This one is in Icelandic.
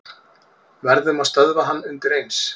Verðum að stöðva hann undireins.